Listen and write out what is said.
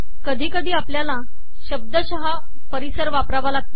कधी कधी आपल्याला शब्दशः पर्यावरण वापरावे लागते